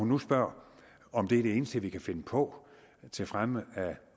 nu spørger om det er det eneste vi kan finde på til fremme af